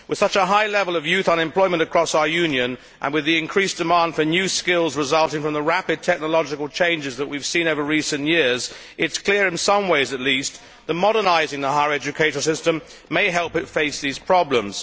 With such a high level of youth unemployment across our Union, and with the increased demand for new skills resulting from the rapid technological changes that we have seen over recent years, it is clear in some ways at least that modernising the higher education system may help it face these problems.